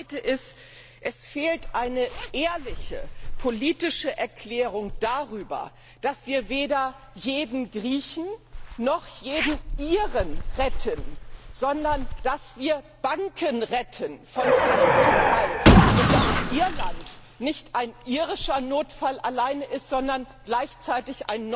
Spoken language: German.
Das zweite ist Es fehlt eine ehrliche politische Erklärung darüber, dass wir weder jeden Griechen noch jeden Iren retten, sondern dass wir Banken retten von Fall zu Fall, und dass Irland nicht allein ein irischer Notfall ist, sondern gleichzeitig